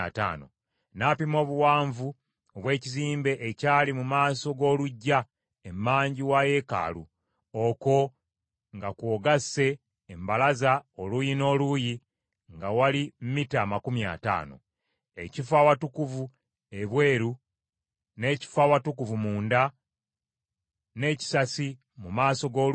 N’apima obuwanvu obw’ekizimbe ekyali mu maaso g’oluggya emanju wa yeekaalu, okwo nga kw’ogasse embalaza oluuyi n’oluuyi nga wali mita amakumi ataano. Ekifo Awatukuvu ebweru, n’ekifo Awatukuvu munda n’ekisasi mu maaso g’oluggya